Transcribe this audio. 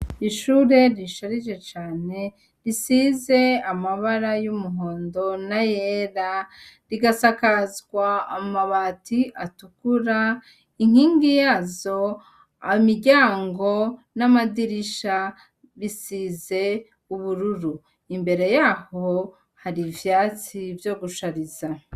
Ishure risharije cane risize amabara y'umuhondo n'ayera rigasakazwa amabati atukura, inkingi yazo imiryango n'amadirisha bisize ubururu, imbere yaho hari ivyatsi vyo gushariza.